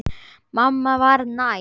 Mamma var næm.